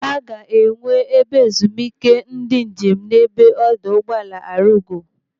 Aga enwe ebe ezumike ndị njem n'ebe ọdọ ụgbọala Arugo.